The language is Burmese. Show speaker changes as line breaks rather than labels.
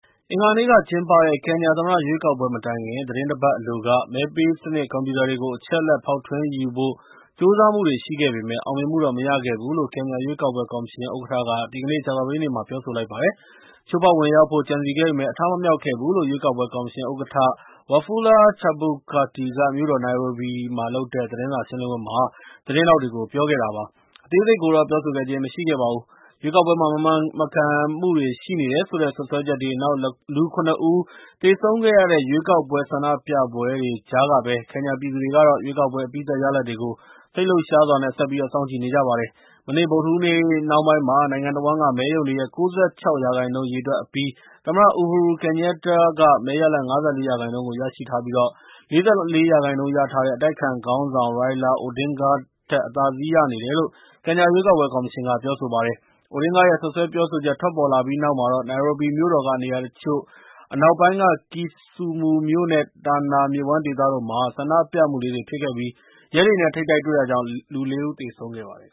အင်္ဂါနေ့က ကျင်းပတဲ့ ကင်ညာ သမ္မတ ရွေးကောက်ပွဲ မတိုင်ခင် သတင်းတပတ် အလိုက မဲပေးစနစ် ကွန်ပြူတာတွေကို အချက်အလက် ဖောက်ထွင်းယူဖို့ ကြိုးစားမှုတွေ ရှိခဲ့ပေမယ့် အောင်မြင်မှုတော့ မရခဲ့ဘူးလို့ ကင်ညာ ရွေးကောက်ပွဲ ကော်မရှင် ဥက္ကဌက ဒီကနေ့ ကြာသပတေးနေ့မှာ ပြောဆိုပါတယ်။ ချိုးဖောက် ဝင်ရောက်ဖို့ ကြံစည်ခဲ့ပေမယ့် အထမမြောက်ခဲ့ဘူးလို့ ရွေးကောက်ပွဲ ကော်မရှင် ဥက္ကဌ Wafula Chebukati က မြို့တော် နိုင်ရိုဘီမှာ လုပ်တဲ့ သတင်းစာ ရှင်းလင်းပွဲမှာ သတင်းထောက်တွေကို ပြောဆိုခဲ့ပါတယ်။ အသေးစိတ်ကိုတော့ ပြောဆိုခဲ့ခြင်း မရှိပါဘူး။ ရွေးကောက်ပွဲမှာ မမှန်မကန်မှုတွေ ရှိနေတယ်ဆိုတဲ့ စွပ်စွဲချက်တွေ၊ နောက် လူ ၇ ဦး သေဆုံးခဲ့ရတဲ့ ရွေးကောက်ပွဲ ဆန္ဒပြပွဲတွေ ကြားကဘဲ ကင်ညာ ပြည်သူတွေကတော့ ရွေးကောက်ပွဲ အပြီးသတ် ရလဒ်တွေကို စိတ်လှုပ်ရှားစွာ ဆက်ပြီး စောင့်ကြည့်နေကြပါတယ်။ မနေ့ ဗုဒ္ဓဟူးနေ့ နှောင်းပိုင်းမှာ နိုင်ငံတဝန်းက မဲရုံတွေရဲ့ ၉၆ ရာခိုင်နှုန်းကို ရေတွက်အပြီး သမ္မတ Uhuru Kenyatta က မဲရလဒ် ၅၄ ရာခိုင်နှုန်းကို ရရှိထားပြီး ၄၄ ရာခိုင်နှုန်း ရထားတဲ့ အတိုက်အခံ ခေါင်းဆောင် Raila Odinga ထက် အသာစီးရနေတယ်လို့ ကင်ညာ ရွေးကောက်ပွဲ ကော်မရှင်က ပြောဆိုပါတယ်။ Odinga ရဲ့ စွပ်စွဲ ပြောဆိုချက် ထွက်ပေါ်လာပြီးနောက်မှာတော့ နိုင်ရိုဘီမြို့တော်က နေရာတချို့၊ အနောက်ပိုင်းက Kisumu မြို့နဲ့ တာနာ မြစ်ဝှမ်း ဒေသတို့မှာ ဆန္ဒပြမှုလေးတွေ ဖြစ်ခဲ့ပြီး ရဲတွေနဲ့ ထိပ်တိုက်တွေ့တာကြောင့် ၄ ဦး သေဆုံးခဲ့ရပါတယ်